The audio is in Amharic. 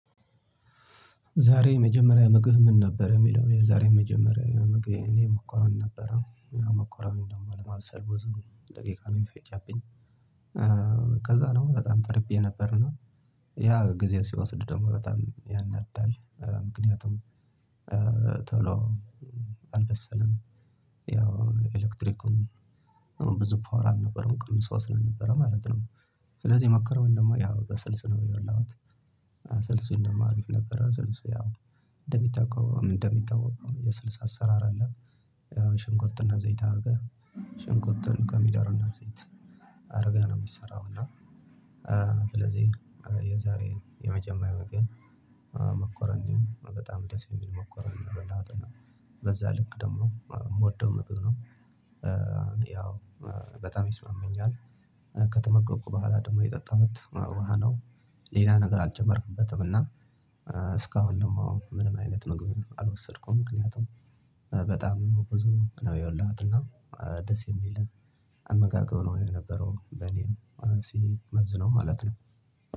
ዛሬ የመጀመሪያ ምግብ ምን ነበር የሚለው የዛሬ መጀመሪያ ምግቤ እኔ መኮሮኒ ነበረ ያው መኮሮኒ ደግሞ ለማብሰል ብዙ ደቂቃ ነው የፈጀብኝ። ከዛ ነው በጣም ተርቤ ነበርና ያ ጊዜ ሲወስድ ደግሞ በጣም ያናዳል። ምክንያቱም ቶሎ አልበሰለም። ያው ኤሌክትሪኩም ብዙ ፓወር አልነበረዉም ቅንሶ ስለነበር ማለት ነው። ስለዚህ መኮሮኒውን ደግሞ ያው በስልስ ነው የበላሁት። ስልሴ ደግሞ አረፍ ነበረ ስልሴ ያው እንደሚታወቀው እንደሚታወቀው የስልስ ሰራር አለ። ያው ሽንኩርትና ዘይት አድርገህ ሽንኩርቱን ከሚዳርና ዘይት አድርገህ ነው የሚሰራው። እና ስለዚህ የዛሬ የመጀመሪያ ምግቤን መኮረኒ በጣም ደስ የሚል መኮረኒ ነው የበላሁት። እና በዛ ልክ ደግሞ የምወደው ምግብ ነው። ያው በጣም ይስማማኛል። ከተመገብኩት በኋላ ደግሞ የጠጣሁት ውሃ ነው። ሌላ ነገር አልጨመርኩበትም። እና ደግሞ ምንም አይነት ምግብም አልወሰድከውም ምክንያቱም በጣም ብዙ ነው የበላሁትና ደስ የሚል አመጋገብ ነው የነበረው። በኔ ስንመዝነው ማለት ነው።